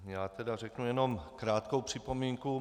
Já tedy řeknu jenom krátkou připomínku.